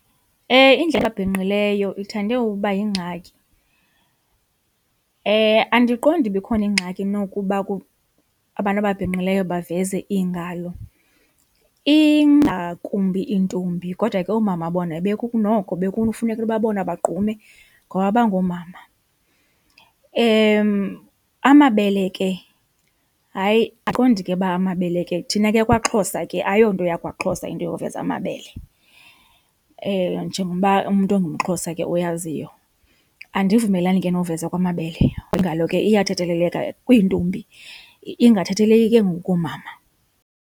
Indlela ababhinqileyo ithande uba yingxaki andiqondi ba ikhona ingxaki nokuba abantu ababhinqileyo baveze iingalo ingakumbi iintombi kodwa ke omama bona beku noko bekufunekile uba bona bagqume ngoba bangoomama. Amabele ke hayi andiqondi ke ba amabele ke thina ke kwaXhosa ke ayonto yakwaXhosa into yoveza amabele njengoba umntu ongumXhosa ke oyaziyo andivumelani ke novezwa kwamabele. Kwingalo ke iyathetheleleka kwiintombi ingathetheleki ke ngoku koomama.